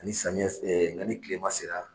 Ani samiyɛ nka ni kilema sera